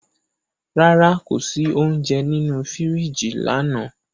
Rara, ko si ounjẹ ninu firiji lana